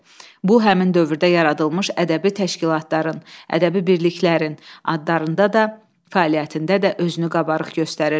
Bu həmin dövrdə yaradılmış ədəbi təşkilatların, ədəbi birliklərin adlarında da, fəaliyyətində də özünü qabarıq göstərirdi.